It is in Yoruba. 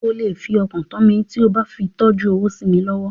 O lè fọkàntán mi tí o bá fi tọ́jú owó sí mi lọ́wọ́.